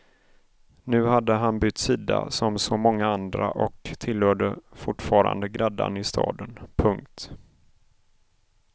Nu hade han bytt sida som så många andra och tillhörde fortfarande gräddan i staden. punkt